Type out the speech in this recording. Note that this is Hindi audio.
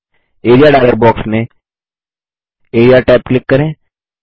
एआरईए डायलॉग बॉक्स में एआरईए टैब क्लिक करें